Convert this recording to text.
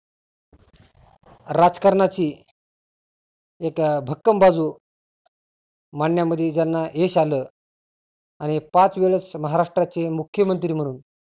राजकारणाची एक भक्कम बाजु मांडण्यामध्ये ज्यांना यश आलं आणि पाच वेळेस महाराष्ट्राचे मुख्यमंत्री म्हणून